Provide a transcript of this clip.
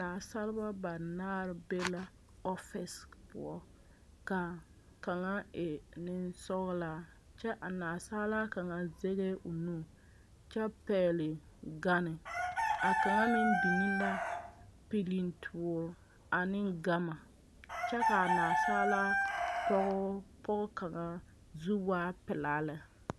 Nansaaleba banaare be la ɔfere poɔ ka kaŋa e neŋsɔglaa kyɛ a nansaala kaŋa zɛgɛɛ o nu kyɛ pɛgle gane kaŋa meŋ biŋ la piltoore ane gama kyɛ ka a nansaala pɔge kaŋa zu waa pelaa lɛ.